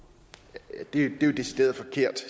det er jo decideret forkert